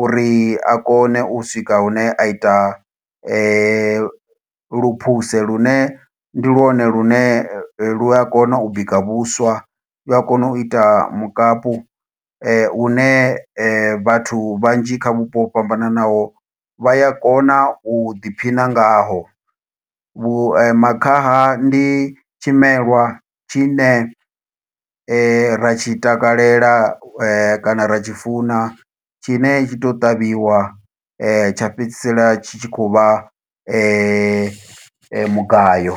uri a kone u swika hune a ita luphuse. Lune ndi lwone lune, lu a kona u bika vhuswa, lu a kona u ita mukapu. Hune vhathu vhanzhi kha vhupo ho fhambananaho vha ya kona u ḓiphina ngaho. Vhu makhaha ndi tshimelwa tshine, ra tshi takalela kana ra tshi funa, tshine tshi to u ṱavhiwa tsha fhedzisela tshi tshi khou vha mugayo.